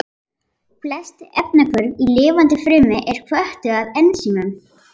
Flest efnahvörf í lifandi frumu eru hvötuð af ensímum.